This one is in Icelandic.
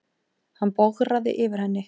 Hann bograði yfir henni.